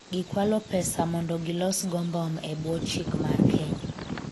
gikwalo pesa mondo gilos go mbom e bwo chik mar Kenya